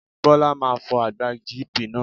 Bọ́lá máa fọ àgbá GP náà.